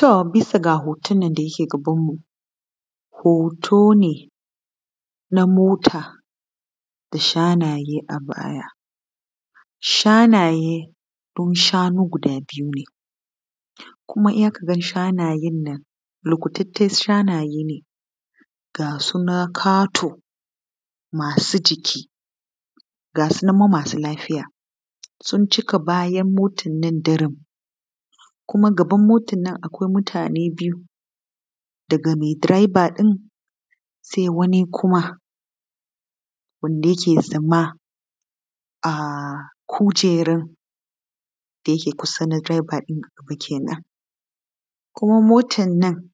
To bisa ga hoton da yake gabanmu. Hoto ne na mota da shanaye a baya. Shanaye sun ne guda biyu ne kuma za ka ga shanayen nan likitattun shanaye ne, ga su nan kato, ga su nan ma masu lafiya sun cika bayan motar nan daram. Kuma gaban mota kuma akwai mutane biyu, daga direban sai wani kuma wanda yake tsaye a kujerar da yake kusa da na direba kenan. Kuma motar nan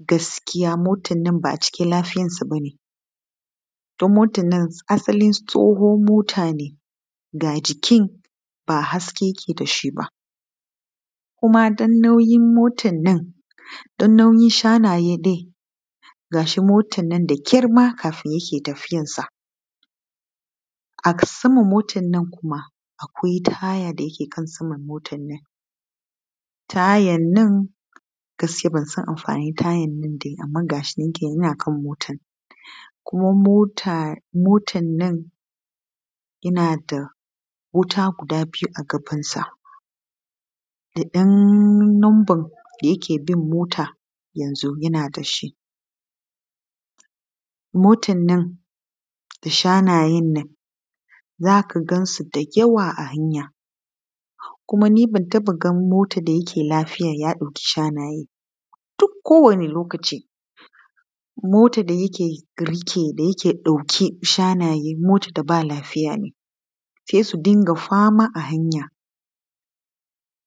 gaskiya ba a cikin lafiyarta ba ne don motar nan asali tsohuwar mota ce, ga jikinta ba haske yake da shi ba. Kuma don nauyin motar nan ko don nauyin shanayen ga shi motar na tafiya da ƙyar yadda take tafiya. A saman motar kuma akwai ‘ta haya’ da yake kan motar nan. Tayan nan gaskiya ban san amfaninsa ba, kuma motar na da wuta guda biyu a gabanta, da ɗan lambar da yake bin mota yanzu yana da shi. Motar da yake ɗauke da shanaye duk kowane lokaci. Motar da yake ɗaukar shanaye mota ce ba ta da lafiya ne, sai su dinga fama a hanya.